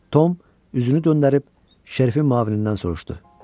Tom üzünü döndərib Şerifin müavinindən soruşdu.